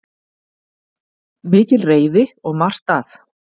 Mikil reiði og margt að